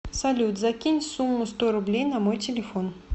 салют закинь сумму сто рублей на мой телефон